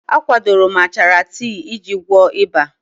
A kwadoro m achara tii iji gwọọ ịba.